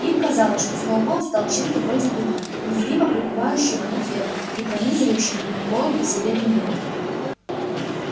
им казалось что сноуболл стал чем-то вроде духа незримо пребывающего на ферме и пронизывающего на их головы все беды мира